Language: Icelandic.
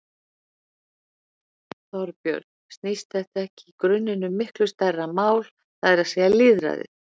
Þorbjörn: Snýst þetta ekki í grunninn um miklu stærra mál, það er að segja lýðræði?